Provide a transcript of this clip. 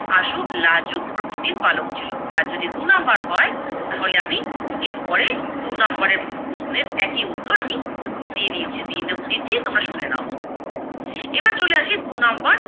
আশু লাজুক প্রকৃতির বালক ছিলো। আর যদি দু নাম্বার হয় তাহলে আমি এর পরে দু নাম্বারের প্রশ্নের একই উত্তর আমি দিয়ে দিয়েছি দিয়ে দিচ্ছি তোমরা শুনে নাও। এবার চলে আসি দু নাম্বার